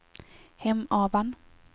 Hemavan